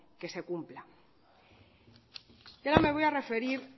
que se cumpla y ahora me voy a referir